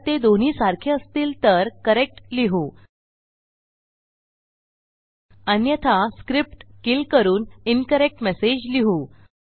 जर ते दोन्ही सारखे असतील तर करेक्ट लिहू अन्यथा स्क्रिप्ट किल करून इन्करेक्ट मेसेज लिहू